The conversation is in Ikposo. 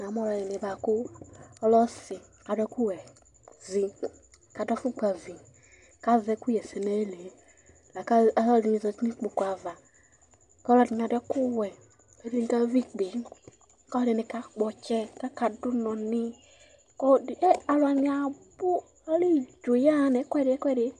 Na mu ɔlɔɖibi buaku ɔlɛ ɔsi Ku aɖu ɛku wɛ vi Ku aɖu afukpa ʋi Ku azɛ ɛkuyɛsɛ nu ayili Laku aluɛ aluɛɖini zãti nu ukpoku aʋa Ku ɔluɛɖini aɖu ɛku wɛ Ɛɖini ka ʋi ikpe, ku ɔluɛɖini ka kpɔ ɔtsɛ, ku aka ɖu unɔ ni, ku ɔlɔɖi, e, aluwani abu Alɛ idzo ya ɣa nu ɛkuɛɖi ɛkuɛɖi